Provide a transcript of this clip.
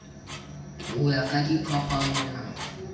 ho ya ka diphapang na